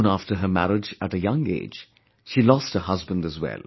Soon after her marriage at a young age, she lost her husband as well